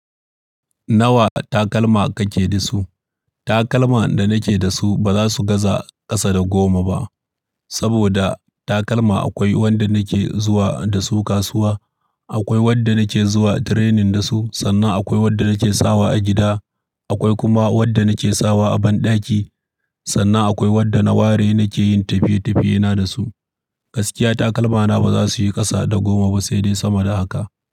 Nawa takalma kake da su? Takalma da nake da su ba za su gaza ƙasa da goma ba. Saboda takalma akwai wanda nake zuwa da su kasuwa, akwai wanda nake zuwa training da su, sannan akwai wanda nake sawa a gida, akwai kuma wanda nake sawa a banɗaki, sannan akwai wadda na ware nake yin tafiye-tafiyena da su. Gaskiya takalmana ba za su yi ƙasa da goma ba, sai dai sama da haka.